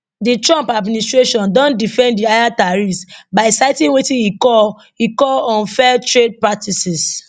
di trump administration don defend di higher tariffs by citing wetin e call e call unfair trade practices